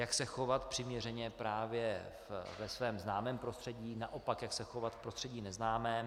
Jak se chovat přiměřeně právě ve svém známém prostředí, naopak jak se chovat v prostředí neznámém.